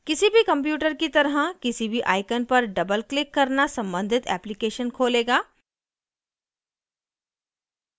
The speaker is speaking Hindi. किसी भी computer की तरह किसी भी icon पर doubleक्लिक करना सम्बंधित application खोलेगा